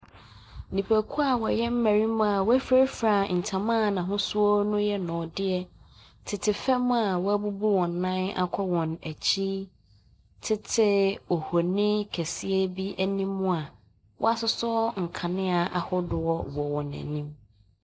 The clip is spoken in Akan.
Nnipakuo a wɔyɛ mmarima a wɔafurafra ntoma a n'ahosu yɛ nnɔdeɛ tete fam a a wɔabu wɔn nan akɔ wɔn akyi tete ohni kɛseɛ bi anim a wɔasosɔ nkanea ahodoɔ wɔ wɔn anim.